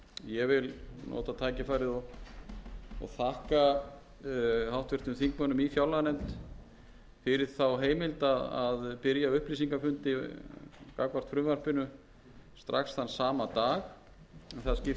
ég vil nota tækifærið og þakka háttvirtum þingmönnum í fjárlaganefnd fyrir þá heimild að byrja upplýsingafundi gagnvart frumvarpinu strax þann sama dag það skipti